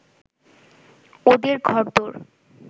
ওদের ঘরদোর